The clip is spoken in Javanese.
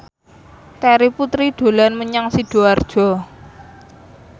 Terry Putri dolan menyang Sidoarjo